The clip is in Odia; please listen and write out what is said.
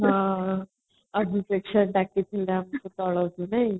ହଁ ନାଇଁ